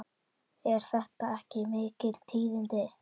Eru þetta ekki mikil tíðindi?